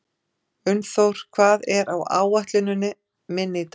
Unnþór, hvað er á áætluninni minni í dag?